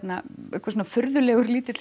eitthvað svona furðulega lítill